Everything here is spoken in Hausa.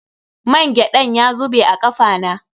Mangyaɗan ya zubu a kafa na.